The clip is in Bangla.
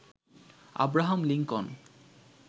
Abraham Lincoln